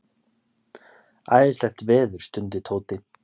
Æðislegt veður stundi Tóti.